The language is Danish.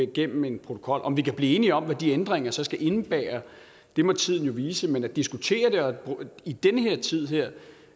gennem en protokol om vi kan blive enige om hvad de ændringer så skal indebære må tiden vise men at diskutere det i den her tid at